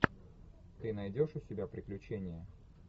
ты найдешь у себя приключения